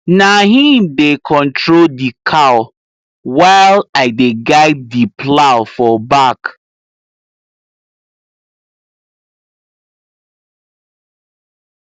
na him dey control the cow while i dey guide the plow for back